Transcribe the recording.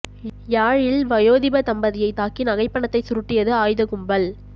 யாழில் வயோதிப தம்பதியை தாக்கி நகை பணத்தை சுருட்டியது ஆயுத கும்பல்